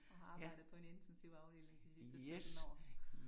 Og har arbejdet på en intensivafdeling de sidste 17 år